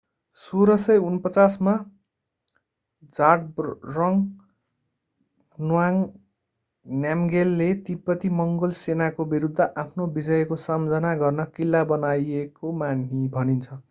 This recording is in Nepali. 1649 मा zhabdrung ngawang namgyel ले तिब्बती-मङ्गोल सेनाको विरुद्ध आफ्नो विजयको सम्झना गर्न किल्ला बनाएको भनिन्छ